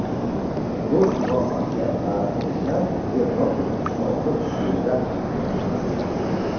O‘z muvaffaqiyat tariximizni Yevropa Ittifoqi usulida yozishimiz lozim.